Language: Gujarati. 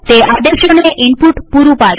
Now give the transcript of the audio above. તે આદેશોને ઈનપુટ પૂરું પાડે છે